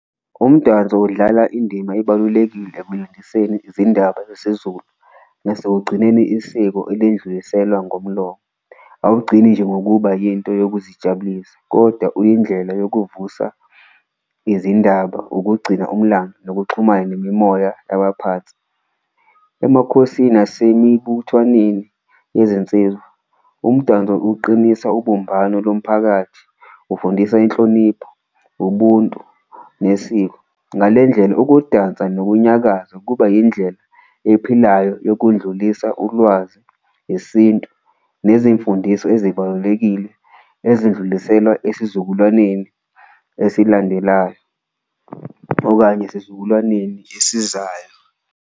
Umdanso udlala indima ebalulekile izindaba zesiZulu nasekugcineni isiko elindluliselwa ngomlomo, awugcini nje ngokuba yinto yokuzijabulisa koda uyindlela nokuvusa izindaba, ukugcina umlando, nokuxhumana nemimoya yabaphansi. Emakhosi nasemibuthwaneni yezinsizwa umdanso uqinisa ubumbano lomphakathi, ufundisa inhlonipho, ubuntu nesiko ngale ndlela, ukudansa nokunyakaza kuba yindlela ephilayo yokundlulisa ulwazi, isintu. Nezimfundiso ezibalulekile ezindluliselwa esizukulwaneni esilandelayo okanye esizukulwaneni esizayo.